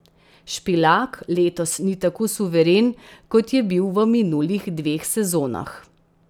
Špilak letos ni tako suveren, kot je bil v minulih dveh sezonah.